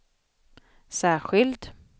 särskild